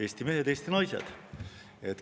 Eesti mehed, Eesti naised!